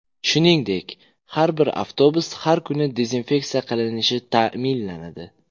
Shuningdek, har bir avtobus har kuni dezinfeksiya qilinishi ta’minlanadi.